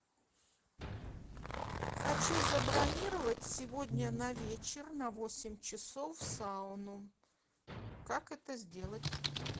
хочу забронировать сегодня на вечер на восемь часов сауну как это сделать